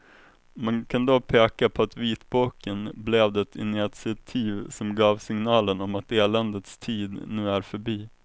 Man kan då peka på att vitboken blev det initiativ som gav signalen om att eländets tid nu är förbi.